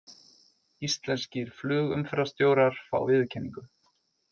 Íslenskir flugumferðarstjórar fá viðurkenningu